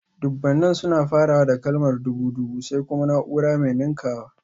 Dubunnan suna farawa da kalmar dubu (dubu), sai kuma naúrar mai ninkawa